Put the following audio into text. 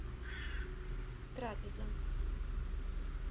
трапеза